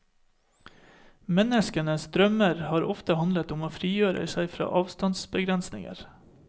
Menneskenes drømmer har ofte handlet om å frigjøre seg fra avstandsbegrensninger.